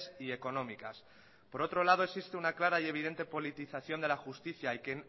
y económicas por otro lado existe una clara y evidente politización de la justicia y que